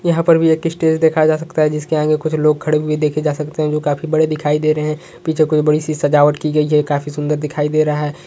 यहाँ पर भी एक स्टेज देखा जा सकता है जिसके आगे कुछ लोग खड़े हुए देखे जा सकते है जो काफी बड़े दिखाई दे रहे है पीछे कोई बड़ी-सी सजावट की गई है काफ़ी सुंदर दिखाई दे रहा हैं।